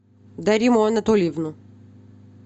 дариму анатольевну